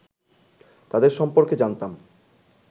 তাঁদের সম্পর্কে জানতাম